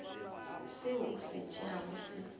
seo o se tšeago se